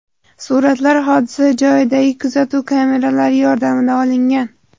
Suratlar hodisa joyidagi kuzatuv kameralari yordamida olingan.